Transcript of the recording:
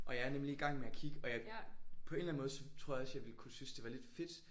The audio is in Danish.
Og jeg er nemlig i gang med at kigge og jeg på en eller anden måde så tror jeg også jeg ville kunne synes det var lidt fedt